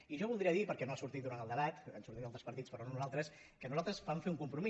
i jo voldria dir perquè no ha sortit durant el debat han sortit altres partits però no nosaltres que nosal·tres vam fer un compromís